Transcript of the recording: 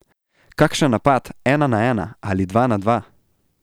Kakšen napad ena na ena ali dva na dva.